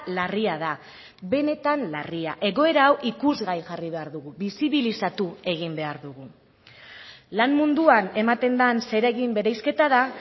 larria da benetan larria egoera hau ikusgai jarri behar dugu bisibilizatu egin behar dugu lan munduan ematen den zeregin bereizketa da